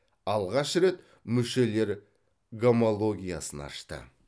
алғаш рет мүшелер гомологиясын ашты